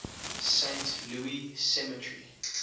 saint louis cemetery